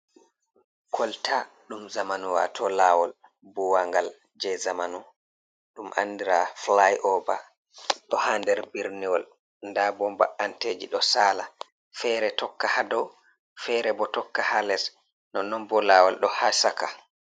Kolta ɗum zamanu wato lawol buwangal je zamanu ɗum andira flay ova ɗo ha nder birniwol nda bo ba’anteji ɗo sala fere tokka ha dow fere bo tokka ha les nonnon bo lawol ɗo ha saka.